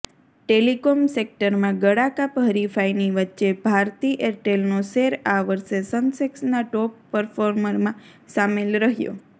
telecom સેક્ટરમાં ગળાકાપ હરિફાઈની વચ્ચે ભારતી એરટેલનો શેર આ વર્ષે સેન્સેક્સના ટોપ પરફોર્મરમાં સામેલ રહ્યો